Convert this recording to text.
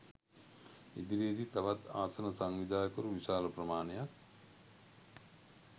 ඉදිරියේදී තවත් ආසන සංවිධායකවරු විශාල ප්‍රමාණයක්